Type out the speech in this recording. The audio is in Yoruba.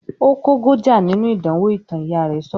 "Ó kógojá nínú ìdánwò ìtàn", Ìyá rẹ̀ sọ̀rọ̀